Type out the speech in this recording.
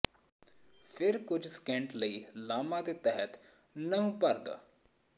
ਫਿਰ ਕੁਝ ਸਕਿੰਟ ਲਈ ਲਾਮਾ ਦੇ ਤਹਿਤ ਨਹੁੰ ਭਰਦਾ